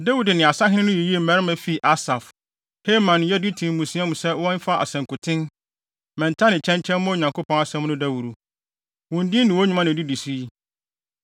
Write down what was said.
Dawid ne asahene no yiyii mmarima fii Asaf, Heman ne Yedutun mmusua mu sɛ wɔmfa asankuten, mmɛnta ne kyɛnkyɛn mmɔ Onyankopɔn asɛm no dawuru. Wɔn din ne wɔn nnwuma na edidi so yi: